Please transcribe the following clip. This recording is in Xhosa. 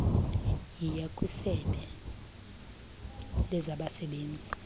yiya kwisebe lezabasebenzi